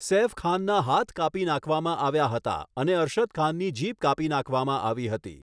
સૈફ ખાનના હાથ કાપી નાખવામાં આવ્યા હતા, અને અરશદ ખાનની જીભ કાપી નાખવામાં આવી હતી.